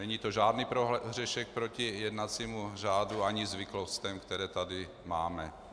Není to žádný prohřešek proti jednacímu řádu ani zvyklostem, které tady máme.